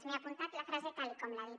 m’he apuntat la frase tal com l’ha dit